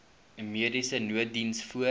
mediese nooddiens voor